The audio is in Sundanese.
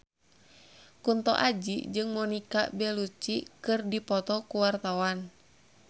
Kunto Aji jeung Monica Belluci keur dipoto ku wartawan